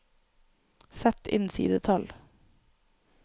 Sett inn sidetall